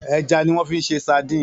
Èjà niwòn fi ṣé sádìn